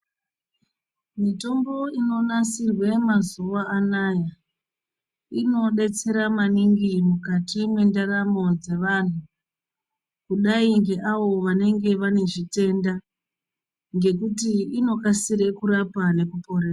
Mitombo inonasirwe mazuwa anaya inodetsera maningi mwukati mwendaramo dzevanhu, kudai ngeavo vanenge vane zvitenda ngekuti inokasire kurapa nekuporesa.